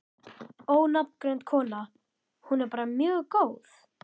Ónafngreind kona: Hún er bara mjög góð?